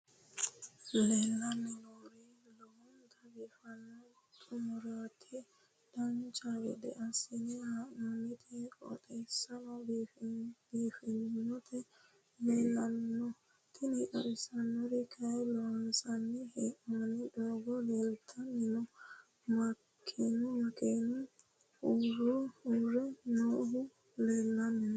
leellanni nooeri lowonta biiffinonna xumareeti dancha gede assine haa'noonniti qooxeessano biiffinoti leeltanni nooe tini xawissannori kayi loonsanni hee'noonni doogo leeltanni nooe makenuno uurre nooohu leellanni nooe